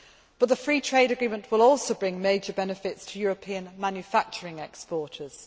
But the free trade agreement will also bring major benefits to European manufacturing exporters.